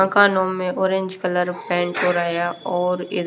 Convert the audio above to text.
मकानो में orange colour paint हो रहा है और ई--